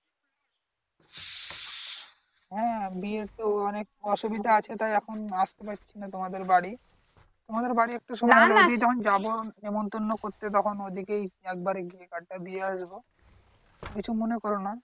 হ্যা বিয়ের তো অনেক অসুবিধা আছে তাই এখন আসতে পারছি না তোমাদের বাড়ি, তোমাদের বাড়ি একটু সময় দিয়ে যখন যাবো নিমতন্ন করতে তখন ওদিকে একবারে গিয়ে কার্ড টা দিয়ে আসব কিছু মনে করো না